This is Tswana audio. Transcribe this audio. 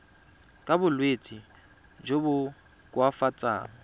ka bolwetsi jo bo koafatsang